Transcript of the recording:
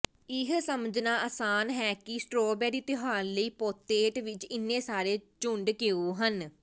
ਇਹ ਸਮਝਣਾ ਅਸਾਨ ਹੈ ਕਿ ਸਟ੍ਰਾਬੇਰੀ ਤਿਉਹਾਰ ਲਈ ਪੋਤੇਟ ਵਿੱਚ ਇੰਨੇ ਸਾਰੇ ਝੁੰਡ ਕਿਉਂ ਹਨ